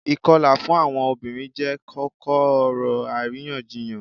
Ikọla fun awọn obirin jẹ koko-ọrọ ariyanjiyan.